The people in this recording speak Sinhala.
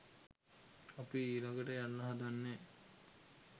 අපි ඊළඟට යන්න හදන්නේ